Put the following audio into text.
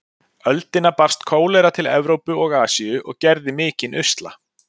öldina barst kólera til Evrópu og Asíu og gerði mikinn usla.